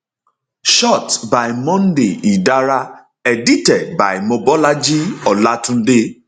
shot by monday idara edited by mobolaji olatunde